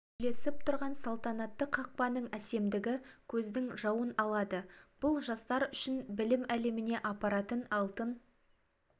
үйлесіп тұрған салтанатты қақпаның әсемдігі көздің жауын алады бұл жастар үшін білім әлеміне апаратын алтын